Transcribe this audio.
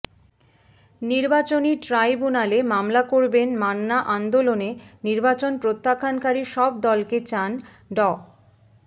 নির্বাচনী ট্রাইব্যুনালে মামলা করবেন মান্না আন্দোলনে নির্বাচন প্রত্যাখ্যানকারী সব দলকে চান ড